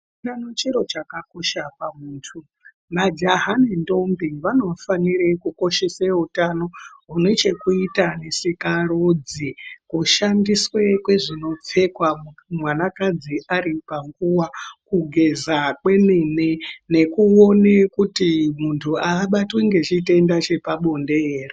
...chiro chakakosha pamuntu, majaha nendombi vanofanire kukoshese utano hune chekuita nesikarudzi. Kushandiswe kwezvinopfekwa mwanakadzi aripanguva. Kugeza kwemene nekuone kuti muntu ahabatwi nechitenda chepabonde here.